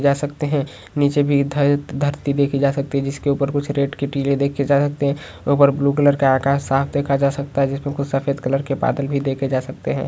जा सकते हैं नीचे भी धर धरती देखी जा सकती हैं जिसके ऊपर कुछ रेट के टीले देखे जा सकते हैं ऊपर ब्लू कलर का आकाश साफ देखा जा सकता हैं जिसमें कुछ सफेद कलर के बादल भी देखे जा सकते हैं।